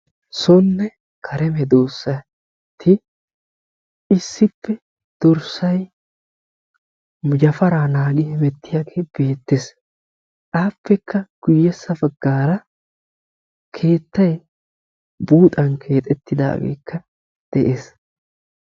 Soonne kare medoosati issippe ba yafaraa naagi hemmettiyaage beettees; appekka guyyee baggara keettay buuxxan keexxetidaagekka de'ees.